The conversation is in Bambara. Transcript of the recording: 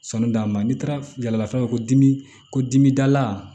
Sɔni da ma n'i taara yalaf'a ko dimi ko dimidala